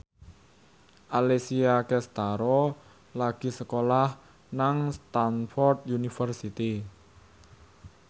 Alessia Cestaro lagi sekolah nang Stamford University